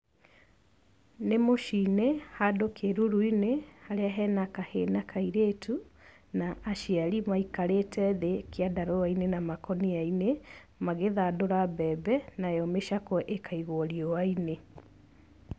Nĩ mũci-inĩ handũ kĩruru-inĩ, harĩa hena kahĩ na kairĩtu, na aciari maikarĩte thĩ kĩandarũa-inĩ na makũnia-inĩ magĩthandũra mbembe, nayo mĩcakwe ĩkaigwo riũa-inĩ.